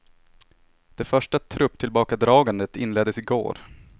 Det första trupptillbakadragandet inleddes i går.